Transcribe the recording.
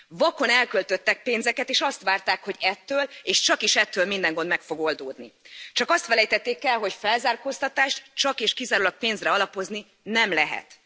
Vakon elköltöttek pénzeket és azt várták, hogy ettől, és csakis ettől minden gond meg fog oldódni. Csak azt felejtették el, hogy felzárkóztatást csak és kizárólag pénzre alapozni nem lehet.